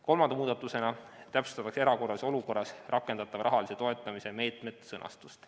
Kolmanda muudatusena täpsustatakse erakorralises olukorras rakendatava rahalise toetamise meetmete sõnastust.